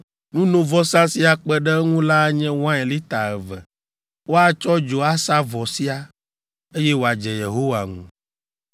Nunovɔsa si akpe ɖe eŋu la anye wain lita eve. Woatsɔ dzo asa vɔ sia, eye wòadze Yehowa ŋu.